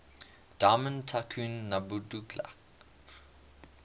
diamond tycoon nwabudike